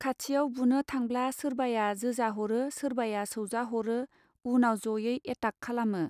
खाथियाव बुनो थांब्ला सोरबाया जोजा हरो सोरबाया सौजा हरो उनाव जयै एताक खालामो.